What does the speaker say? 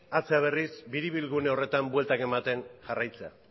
hartzea berriz biribilgune horretan bueltak ematen jarraitzea